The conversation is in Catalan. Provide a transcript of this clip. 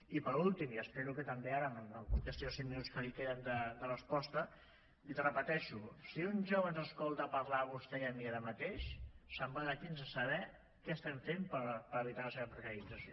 i per últim i espero que també ara em contesti en els cinc minuts que li queden de resposta l’hi repeteixo si un jove ens escolta parlar a vostè i a mi ara mateix se’n va d’aquí sense saber què estem fent per evitar la seva precarització